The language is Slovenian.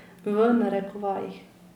V narekovajih.